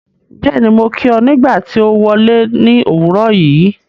Bẹ́ẹ̀ni, mo kí ọ nígbà tí o wọle ní òwúrọ̀ yìí ́.